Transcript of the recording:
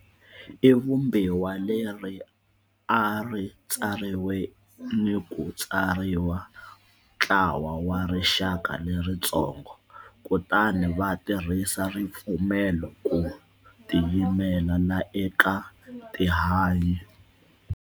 I Vumbiwa leri a ri tsariwe ni ku tsaleriwa ntlawa wa rixaka leritsongo, kutani va tirhisa ripfumelo ku tiyimelela eka tihanyi.